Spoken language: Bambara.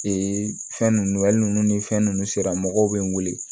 Ee fɛn ninnu ale ni fɛn nunnu sera mɔgɔw be n weele